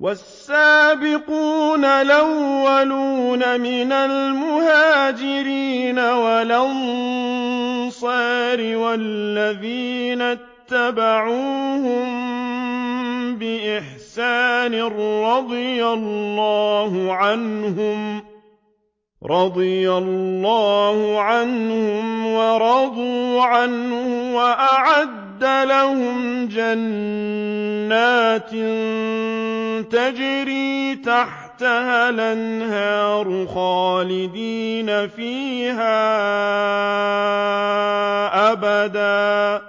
وَالسَّابِقُونَ الْأَوَّلُونَ مِنَ الْمُهَاجِرِينَ وَالْأَنصَارِ وَالَّذِينَ اتَّبَعُوهُم بِإِحْسَانٍ رَّضِيَ اللَّهُ عَنْهُمْ وَرَضُوا عَنْهُ وَأَعَدَّ لَهُمْ جَنَّاتٍ تَجْرِي تَحْتَهَا الْأَنْهَارُ خَالِدِينَ فِيهَا أَبَدًا ۚ